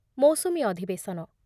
ମୌସୁମୀ ଅଧିବେଶନ